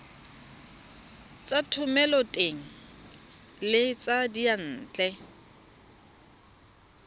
tsa thomeloteng le tsa diyantle